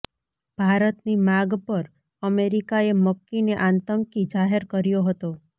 ભારતની માગ પર અમેરિકાએ મક્કીને આતંકી જાહેર કર્યો હતો